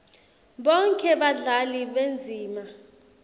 bonkhe badlali bendzima